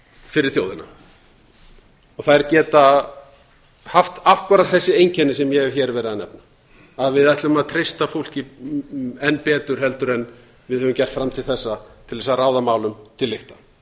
fyrir þjóðina þær geta haft akkúrat þessi einkenni sem ég hef hér verið að nefna að við ætlum að treysta fólki enn betur heldur en við höfum gert fram til þessa til þess að ráða málum til lykta